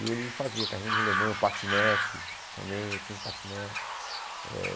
E ele fazia carrinho de rolemã, patinete também, eu tinha um patinete eh.